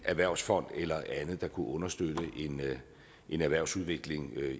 erhvervsfond eller andet der kunne understøtte en erhvervsudvikling